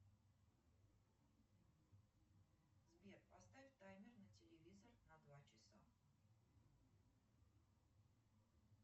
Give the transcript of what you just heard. сбер поставь таймер на телевизор на два часа